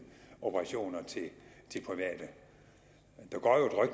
operationer til private